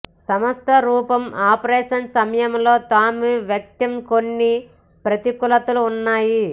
సంస్థ రూపం ఆపరేషన్ సమయంలో తాము వ్యక్తం కొన్ని ప్రతికూలతలు ఉన్నాయి